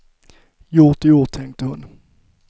Gjort är gjort, tänkte hon.